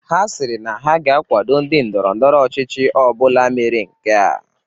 Ha sịrị na ha ga-akwado ndị ndọrọ ndọrọ ọchịchị ọbụla mere nkea